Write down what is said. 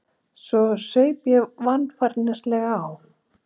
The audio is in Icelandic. Svo saup ég varfærnislega á.